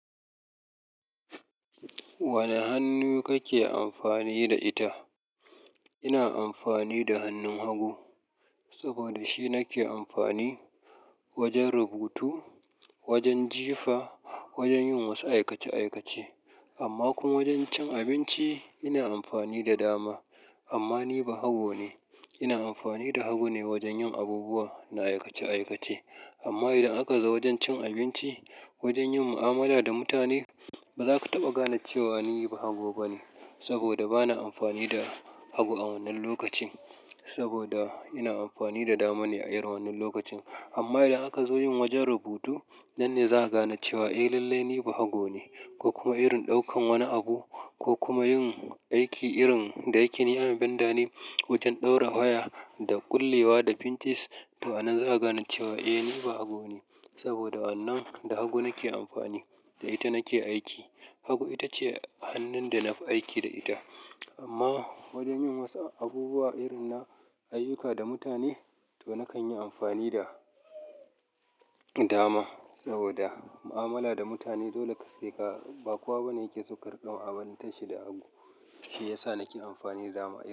Wane hannu kake amfani da ita? Ina amfani da hannun hagu saboda shi nake amfani wajen rubutu, wajen jifa, wajen yin wasu aikace-aikace amma kuma wajen cin abinci ina amfani da dama amma ni bahago ne. Ina amfani da hagu ne wajen yin abubuwa na aikace-aikace. Amma idan aka zo wajen cin abinci, wajen yin mu'amala da mutane, ba za ka taɓa gane cewa ni bahago bane saboda bana amfani da hagu a wannan lokacin saboda ina amfani da dama ne a irin wannan lokacin. Amma idan aka zo yin wajen rubutu nan ne za a gane cewa eh lallai ni bahago ne ko kuma irin ɗaukan wani abu ko kuma yin aiki irin dayake ni ayon benda ne wajen ɗaura waya da ƙullewa da pinches to a nan zaka gane cewa eh ni bahago ne saboda wannan da hagu nake amfani da ita nake aiki. Hagu ita ce hannun da nafi aiki da ita. Amma wajen yin wasu abubuwa irin na ayyuka da mutane to nakan yi amfani da dama saboda mu'amala da mutane dole ka saka bakuwa bane yake saukarƙa a banɗaki da hagu. Shi ya sa nake amfani da dama aiki.